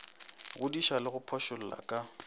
godiša le go phošolla ka